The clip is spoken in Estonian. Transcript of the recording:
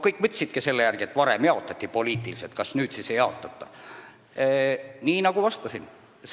Kõik võtsidki nii, et varem ju jaotati neid kohti poliitiliselt, kas nüüd siis enam ei jaotata.